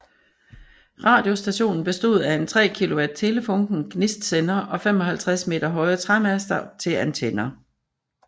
Radiostationen bestod af en 3 kW Telefunken gnistsender og 55 meter høje træmaster til antenner